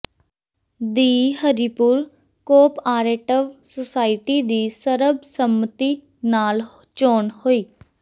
ਦੀ Haripur cooperative society ਦੀ ਸਰਬਸੰਮਤੀ ਨਾਲ ਚੋਣ ਹੋਈ